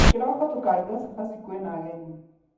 Kĩroko tukaruga cabaci kwĩna ageni.